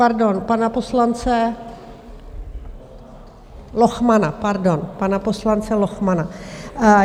Pardon, pana poslance Lochmana, pardon... pana poslance Lochmana.